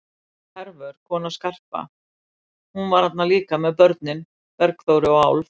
Og Hervör, kona Skarpa, hún var þarna líka með börnin, Bergþóru og Álf.